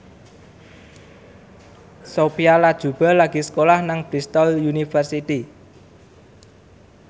Sophia Latjuba lagi sekolah nang Bristol university